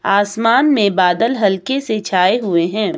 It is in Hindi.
आसमान में बादल हल्के से छाए हुए है।